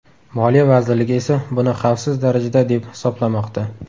Moliya vazirligi esa buni xavfsiz darajada deb hisoblamoqda.